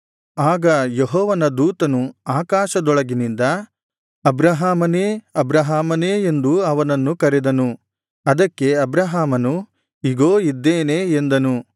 ಆಗ ಯೆಹೋವನ ದೂತನು ಆಕಾಶದೊಳಗಿನಿಂದ ಅಬ್ರಹಾಮನೇ ಅಬ್ರಹಾಮನೇ ಎಂದು ಅವನನ್ನು ಕರೆದನು ಅದಕ್ಕೆ ಅಬ್ರಹಾಮನು ಇಗೋ ಇದ್ದೇನೆ ಎಂದನು